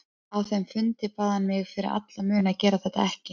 Á þeim fundi bað hann mig fyrir alla muni að gera þetta ekki.